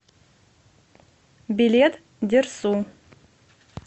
билет дерсу